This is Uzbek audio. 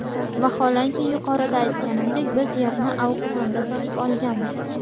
Vaholanki yuqorida aytganimdek, biz yerni auksiondan sotib olganmiz”.